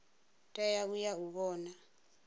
tea u ya u vhona